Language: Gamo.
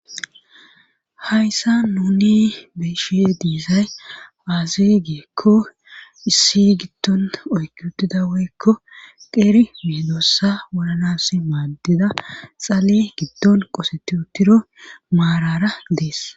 hayssa nuni beeshe diizay paazigeekko issi gidton oyki uttida woykko qeeri midossa wolanas maaddida xale giddon qoseti uttido maarara dees